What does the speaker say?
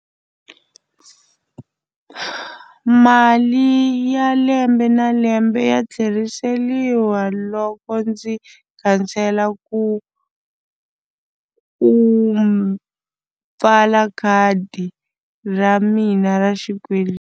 Mali ya lembe na lembe ya tlheriseriwa loko ndzi cancel-a ku pfala khadi ra mina ra .